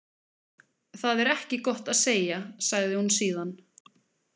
Það er ekki gott að segja, sagði hún síðan.